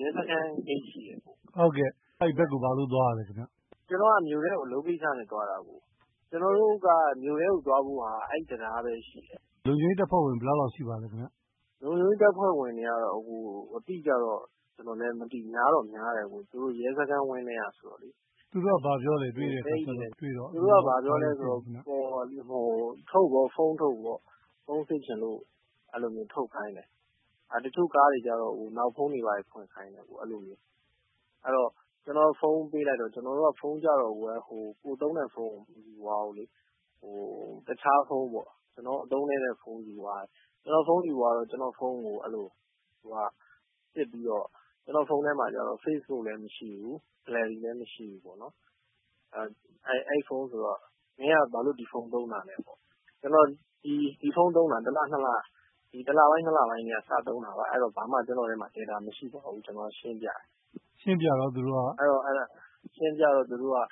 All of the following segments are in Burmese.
ရဲစခန်းဂိတ်ရှိတယ်။ မေး။ ။ ဟုတ်ကဲ့အဲဒီဘက်ကို ဘာလို့ သွားတာလဲ။ ဖြေ။ ။ ကျနော်က မြို့ထဲကို အလုပ်ကိစ္စနဲ့ သွားတာ ၊ ကျနော်တို့က မြို့ထဲကိုသွားဖို့က အဲဒီတံတားပဲရှိတယ်။ မေး။ ။ လုံခြုံရေးတပ်ဖွဲ့ဝင် ဘယ်လောက်လောက်ရှိပါသလဲ။ ဖြေ။ ။ လုံခြုံရေးတပ်ဖွဲ့ဝင်တွေကတော့ အတိအကျတော့ ကျနော်လည်းမသိဘူး များတော့များတယ်အကိုရေ ၊ သူတို့က ရဲစခန်းဝန်းထဲကဆိုတော့။ မေး။ ။ သူတို့က ဘာပြောသလဲ တွေ့တော့။ ဖြေ။ ။ သူတို့က ဘာပြောသလဲ ဆိုတော့ ဖုန်းထုတ်ပေါ့ ၊ ဖုန်းစစ်ချင်လို့ အဲလိုမျိုးထုတ်ခိုင်းတယ်။ တချို့ကားတွေကတော့ နောက်ဖုံးတွေ ဖွင့်ခိုင်းတယ် အဲလိုမျိုး။ ကျနော်က ဖုန်းပေးလိုက်တော့ ဖုန်းကတော့ ကိုယ်သုံးတဲ့ ဖုန်းမယူသွားဘူးလေ၊ တခြားဖုန်းပေါ့ အသုံးနည်းတဲ့ဖုန်းယူသွားတယ်။ ကျနော့်ဖုန်းကို စစ်ပြီးတော့ ကျနော့်ဖုန်းမှာတော့ Facebook လည်းမရှိဘူး gallery လည်းမရှိဘူးပေါ့နော်။ အဲဒီဖုန်းဆိုတော့ မင်းက ဘာလို့ ဒီဖုန်းသုံးတာလဲပေါ့နော် ၊ ကျနော် ဒီဖုန်းသုံးတာ ၁ လပိုင်း ၂ လပိုင်းကတည်းက စသုံးတာပါ အဲဒီတော့ ကျနော့်ထဲမှာ ဘာမှ data မရှိပါဘူးဆိုတာ ရှင်းပြတယ်။ ရှင်းပြတော့ သူတို့က မယုံဘူးပေါ့၊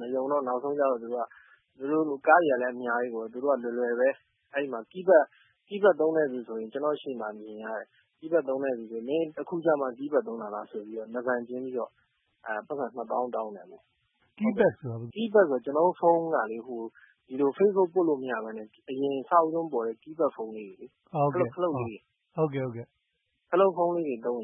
မယုံတော့ ကားတွေကလည်း အများကြီးပေါ့နော် နောက်ဆုံး သူတို့က လွယ်လွယ်ပဲ ၊ keypad သုံးတဲ့လူဆိုရင် ကျနော့်ရှေ့မှာ မြင်ရတယ်၊ မင်းအခုကျမှ keypad သုံးတာလားဆိုပြီး နားဘန်ကျင်းပြီးတော့ ပိုက်ဆံ ၂ သောင်း တောင်းတယ်ပေါ့နော်။ မေး။ ။ keypad ဆိုတာက ဖြေ။ ။ keypad ဆိုတာလေ ကျနော်တို့ဖုန်းက Facebook ပွတ်လို့မရပဲနဲ့ အရင် အစဦးဆုံး ပေါ်တဲ့ keypad ဖုန်းလေးတွေ ၊ အဲလိုခလုတ်လေးတွေ။ အဲဒီလိုဖုန်းသုံးရင် နား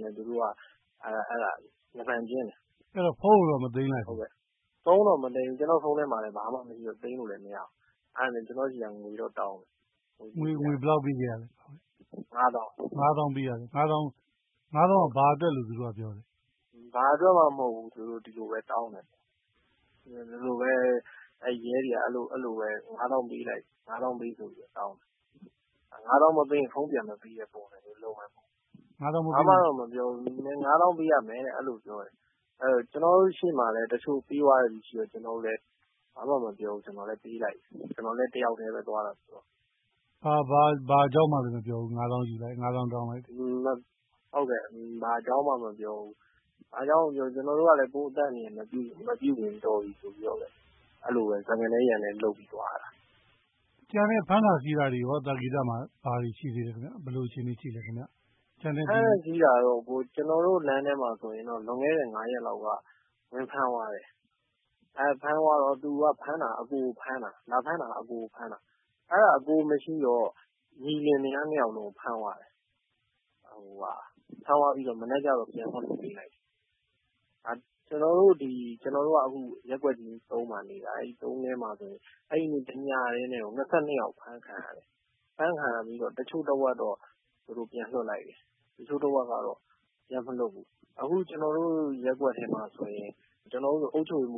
ဘန်ကျင်းတယ်။ မေး။ ။ အဲဒီတော့ ဖုန်းမသိမ်းဘူးလား။ ဖြေ။ ။ ဖုန်းကိုတော့ မသိမ်းလိုက်ဘူး။ ဖုန်းထဲမှာလည်း ဘာမှ သိမ်းလို့မရဘူး။ အဲဒါနဲ့ ကျနော်ဆီက ငွေတော့တောင်းတယ်။ မေး။ ။ ငွေဘယ်လောက်ပေးခဲ့ရသလဲ။ ဖြေ။ ။ ၅ သောင်းခင်ဗျ။ မေး။ ။ ၅ သောင်းက ဘာအတွက်လို့ ပြောလဲ။ ဖြေ။ ။ဘာအတွက်မှမဟုတ်ဘူး သူတို့ ဒီလိုပဲ တောင်းတယ်။ အဲဒါနဲ့ ရဲတွေကို ၅ သောင်းပေးလိုက်တယ်။ ၅ သောင်းမပေးရင် ဖုန်းပြန်မပေးတဲ့ပုံစံမျိုးလုပ်တယ်။ ဘာမှတော့မပြောဘူး ၅ သောင်းပေးရမယ် အဲလိုပြောတယ်။ ကျနေ်ာတို့ရှေ့မှာလည်း တချို့ ပေးသွားတဲ့လူတွေရှိတော့ ဘာမှမပြောဘူး ကျနော်လည်း ပေးလိုက်တယ်။ ကျနော်လည်း တယောက်တည်းပဲ သွားတာဆိုတော့။ မေး။ ။ ဘာအကြောင်းမှလည်း မပြောဘူး ၅ သောင်းတောင်းတာပေါ့နော်။ ဖြေ။ ။ ဟုတ်ကဲ့ ဘာအကြောင်းမှ မပြောဘူး ကျနော်တို့ကလည်း စကားနဲ ရန်နဲလုပ်ပြီးတော့ သွားရတာ။ မေး။ ။ ကျန်တဲ့ ဖမ်းတာဆီးတာတွေရော သာကေတမှာ ဘာတွေရှိသေးသလဲ။ ဘယ်လိုအခြေအနေရှိသလဲခင်ဗျ။ ဖြေ။ ။ဖမ်းတာဆီးတာကတော့ ကျနော်တို့ လမ်းထဲမှာဆိုရင် လွန်ခဲ့တဲ့ ၅ ရက်လောက်က ဝင်ဖမ်းသွားတယ်။ လာဖမ်းသွားတော့ ဖမ်းတာက အကိုကိုဖမ်းတာ ၊ အဲဒါ အကိုမရှိတော့ ညီလင်မယား ၂ ယောက်လုံးကို ဖမ်းသွားတာ။ ဖမ်းသွားပြီးတော့ မနက်ကျတော့ ပြန်လွှတ်ပေးလိုက်တယ်။ ကျနော်တို့က ရပ်ကွက် ၃ မှာနေတာ အဲဒီ ရပ်ကွက် ၃ မှာဆိုရင် တညတည်းနဲ့ ၂၂ ယောက် အဖမ်းခံရတယ်။ အဖမ်းခံရပြီးတော့ တချို့တဝက်တော့ ပြန်လွှတ်လိုက်တယ်။ တချို့တဝက်တော့ ပြန်မလွှတ်ဘူး။ အခုကျတော်တို့ ရပ်ကွက်ထဲမှာဆိုရင် အုပ်ချုပ်ရေးမှ